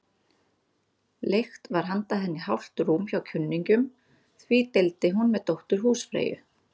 Leigt var handa henni hálft rúm hjá kunningjum, því deildi hún með dóttur húsfreyju.